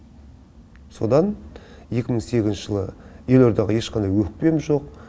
содан екі мың сегізінші жылы елордаға ешқандай өкпем жоқ